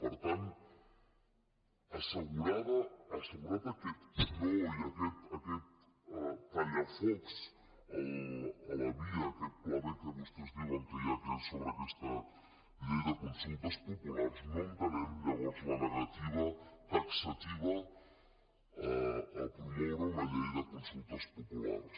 per tant assegurat aquest no i aquest tallafocs a la via aquest pla b que vostès diuen que hi ha sobre aquesta llei de consultes populars no entenem llavors la negativa taxativa a promoure una llei de consultes populars